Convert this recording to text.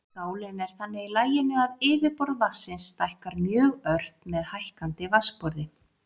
Skálin er þannig í laginu að yfirborð vatnsins stækkar mjög ört með hækkandi vatnsborði.